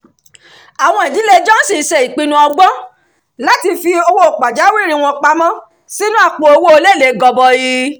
àwọn ìdílé johnson ṣe ìpinnu ọgbọ́n láti fi owó pàjáwìrì wọn pamọ́ sínú àpò-owó elélèé gọbọi